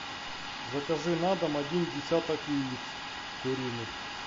закажи на дом один десяток яиц куриных